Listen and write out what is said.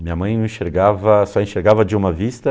Minha mãe enxergava só enxergava de uma vista